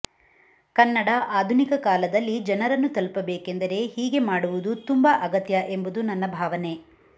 ಕನ್ನಡ ಆಧುನಿಕ ಕಾಲದಲ್ಲಿ ಜನರನ್ನು ತಲುಪಬೇಕೆಂದರೆ ಹೀಗೆ ಮಾಡುವುದು ತುಂಬ ಅಗತ್ಯ ಎಂಬುದು ನನ್ನ ಭಾವನೆ